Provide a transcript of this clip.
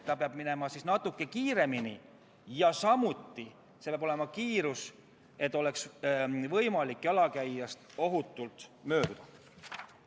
Ta peab minema natuke kiiremini, samas peab kiirus olema selline, et tal oleks võimalik jalakäijast ohutult mööduda.